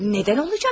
Niyə olacaq?